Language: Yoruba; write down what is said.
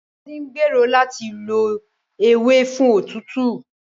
Ngozi gbèrò láti lo ewe fún òtútù.